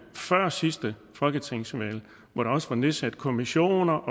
at sidste folketingsvalg var nedsat kommissioner